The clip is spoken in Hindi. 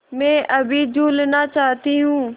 मैं अभी झूलना चाहती हूँ